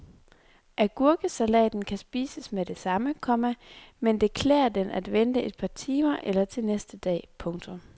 Agurkesalaten kan spises med det samme, komma men det klær den at vente et par timer eller til næste dag. punktum